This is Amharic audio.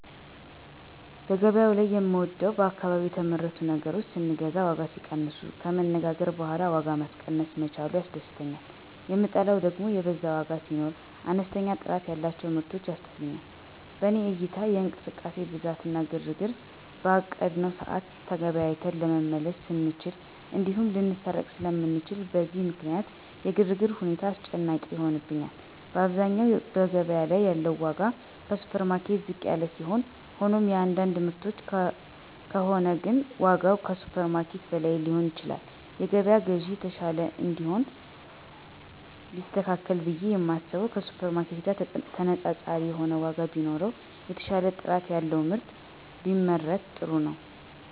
በገበያው ላይ የምወደው በአካባቢ የተመረቱ ነገሮችን ስንገዛ ዋጋ ሲቀንሱ፣ ከመነጋገር በኋላ ዋጋ ማስቀነስ መቻሉ ያስደስተኛል, የምጠላው ደግም የበዛ ዋጋ ሲኖር፣ አነስተኛ ጥራት ያላቸው ምርቶች ያስጠሉኛል። በኔ እይታ የእንቅስቃሴ ብዛት እና ግርግር፣ በአቀድነው ሰዓት ተገበያይተን ለመመለስ ስለማንችል እንዲሁም ልንሰረቅ ስለምንችል፣ በእነዚህ ምክንያት የግርግር ሁኔታ አስጨናቂ ይሆንብኛል። በአብዛኛው በገበያ ላይ ያለው ዋጋ ከሱፐርማርኬት ዝቅ ያለ ሲሆን ሆኖም የአንዳንድ ምርቶች ከሆነ ግን ዋጋው ከሱፐርማርኬት በላይ ሊሆን ይችላል። የገበያ ግዢ የተሻለ እንዲሆን ቢስተካከል ብየ የማስበው ከሱፐርማርኬት ጋር ተነፃፃሪ የሆነ ዋጋ ቢኖረው፣ የተሻለ ጥራት ያለው ምርት ቢመረት ጥሩ ነው።